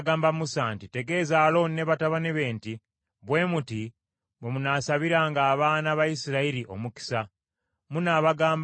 “Tegeeza Alooni ne batabani be nti, Bwe muti bwe munaasabiranga abaana ba Isirayiri omukisa: munaabagambanga nti: